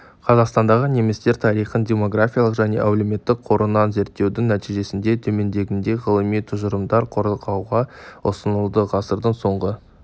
қазақстандағы немістер тарихын демографиялық және әлеуметтік қырынан зерттеудің нәтижесінде төмендегідей ғылыми тұжырымдар қорғауға ұсынылды ғасырдың соңғы